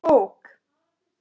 Ný bók,